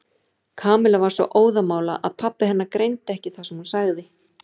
Kamilla var svo óðamála að pabbi hennar greindi ekki það sem hún sagði.